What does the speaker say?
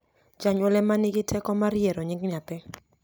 janyuol ema ni gi teko mar yiero nying nyathi